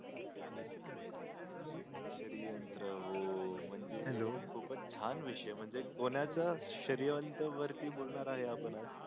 श्रयंत्र हो म्हणजे खूप च छान विषय कोणच्या श्रयंत्र वर बोलणार आहे आपण